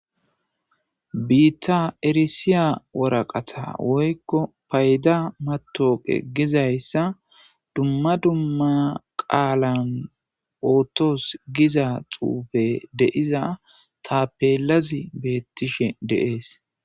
biitta erisiya woraqata woykko payda matooqe gizayssa dumma dumma qaalan ootos giza xuufe de7iza tapeelazi beettishe de7ees.